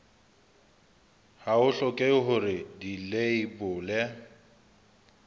ha ho hlokehe hore dileibole